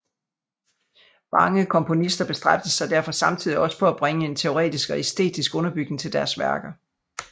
Mange komponister bestræbte sig derfor samtidig også på at bringe en teoretisk og æstetistisk underbygning til deres værker